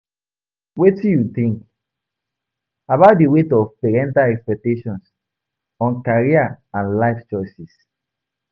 wetin you think about di weight of parental expectations on career and life choices?